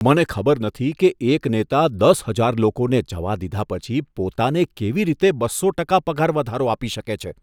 મને ખબર નથી કે એક નેતા દસ હજાર લોકોને જવા દીધા પછી પોતાને કેવી રીતે બસો ટકા પગાર વધારો આપી શકે છે.